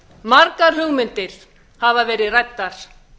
margar hugmyndir hafa verið ræddar